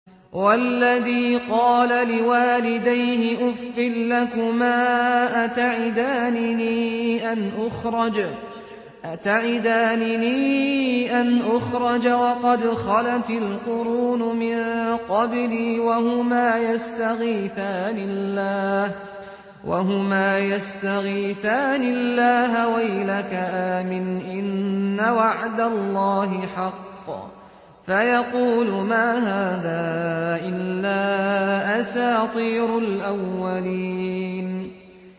وَالَّذِي قَالَ لِوَالِدَيْهِ أُفٍّ لَّكُمَا أَتَعِدَانِنِي أَنْ أُخْرَجَ وَقَدْ خَلَتِ الْقُرُونُ مِن قَبْلِي وَهُمَا يَسْتَغِيثَانِ اللَّهَ وَيْلَكَ آمِنْ إِنَّ وَعْدَ اللَّهِ حَقٌّ فَيَقُولُ مَا هَٰذَا إِلَّا أَسَاطِيرُ الْأَوَّلِينَ